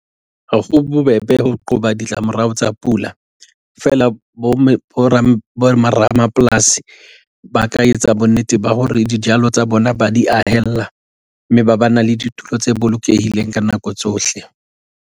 Ha ho bobebe ho qoba ditlamorao tsa pula, feela boramapolasi ba ka etsa bonnete ba hore dijalo tsa bona ba di ahella, mme ba ba na le ditulo tse bolokehileng ka nako tsohle.